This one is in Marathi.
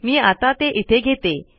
मी आता ते इथे घेते